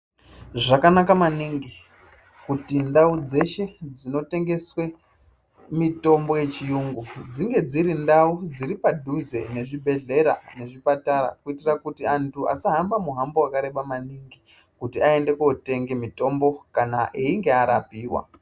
Zvakanaka maningi, kuti ndau dzeshe dzinotengeswe mitombo yechiyungu, dzinge dziri ndau dziri padhuze nezvibhedhlera, nezvipatara , kuitira kuti antu asahamba muhambo wakareba maningi kuti aende kotenge mitombo kana einge arapiwa.